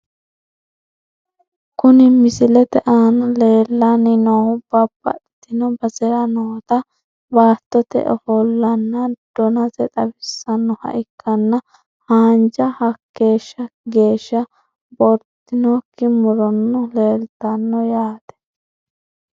Kuni misilete aana lellanni noohu babbaxitino basera noota baattote ofo'lonna donase xawisannoha ikkanna., haanja hakkeeshshi geeshsha bowirtinokki murono leeltanno yaate.